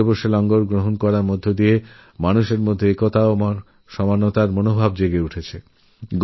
একসঙ্গেবসে লঙ্গরখানায় খাদ্য গ্রহণ করলে ঐক্য ও সাম্যভাব জাগ্রত হয়